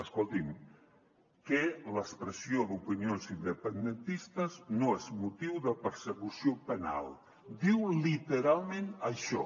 escolti’m que l’expressió d’opinions independentistes no és motiu de persecució penal diu literalment això